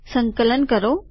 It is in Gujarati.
સંકલન કરો